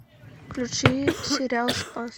включи сериал спас